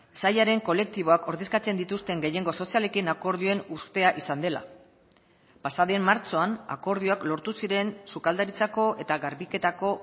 sailaren kolektiboak ordezkatzen dituzten gehiengo sozialekin akordioen uztea izan dela pasaden martxoan akordioak lortu ziren sukaldaritzako eta garbiketako